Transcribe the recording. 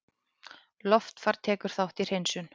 Loftfar tekur þátt í hreinsun